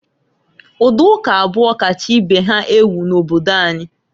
Ụdị ụka abụọ kacha ibe ha ewu n'obodo anyị.